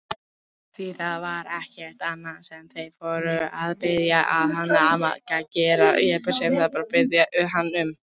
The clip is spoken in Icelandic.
Því það var ekkert annað sem þeir voru að biðja hann um!